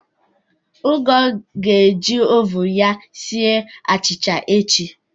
Ngoo ga-eji oven ya sie achịcha echi